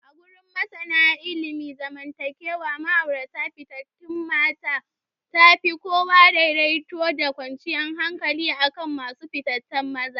Agurin masana ilimin zaman takewa, auratayyar fifita mace tafi kawo daidaito da kwanciyar hankali akan masu fifita maza.